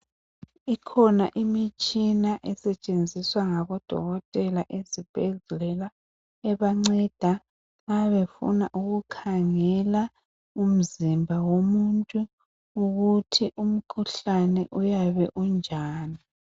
Ikhona imitshina esetshenziswa ngabodokotela ezibhedlela ebanceda nxa befuna ukukhangela umzimba womuntu ukuthi umkhuhlane uyabe unjani